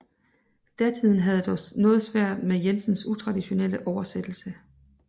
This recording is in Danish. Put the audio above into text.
Datiden havde dog noget svært med Jensens utraditionelle oversættelse